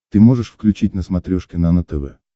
ты можешь включить на смотрешке нано тв